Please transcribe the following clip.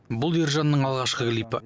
бұл ержанның алғашқы клипі